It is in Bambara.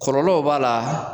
Folɔlow b'a la,